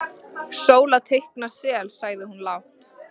Sóla teikna sel, sagði hún lágt.